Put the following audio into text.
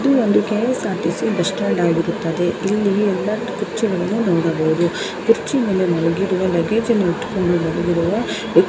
ಇದು ಒಂದು KSRTC bus stand ಆಗಿರುತ್ತದೆ ಇಲ್ಲಿ ಎಲ್ಲಾ ಕುರ್ಚಿಗಳನ್ನು ನೋಡಬಹುದು ಕುರ್ಚಿ ಮೇಲೆ ಮಲಗಿರುವ ಲಗೇಜನ್ನು ಇಟ್ಟುಕೊಂಡು ಮಲಗಿರುವ ವ--